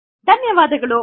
ಧನ್ಯವಾದಗಳು